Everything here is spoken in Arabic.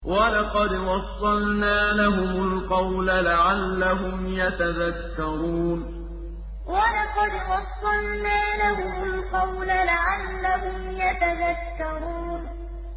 ۞ وَلَقَدْ وَصَّلْنَا لَهُمُ الْقَوْلَ لَعَلَّهُمْ يَتَذَكَّرُونَ ۞ وَلَقَدْ وَصَّلْنَا لَهُمُ الْقَوْلَ لَعَلَّهُمْ يَتَذَكَّرُونَ